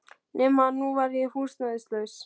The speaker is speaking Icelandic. Nema að nú var ég húsnæðislaus.